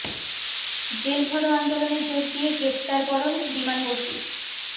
jail ভরো আন্দোলনে যোগ দিয়ে গ্রেফতার বরণ বিমান বসুর